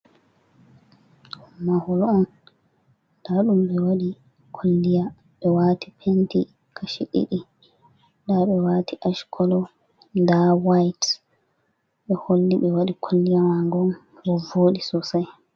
Mahol on daɗum ɓe waɗi kolliya ɓe waati penti kashi ɗiɗi ɗa ɓe waati ash colo la wayt ɓe holli ɓe waɗi kolliya ma go on ɗon voɗi sosai.